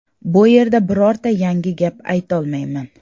Bu erda birorta yangi gap aytolmayman.